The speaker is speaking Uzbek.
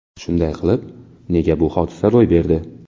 Shunday qilib, nega bu hodisa ro‘y berdi?